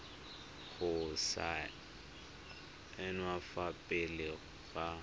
go saenwa fa pele ga